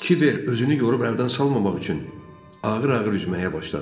Kiber özünü yorub əldən salmamaq üçün ağır-ağır üzməyə başladı.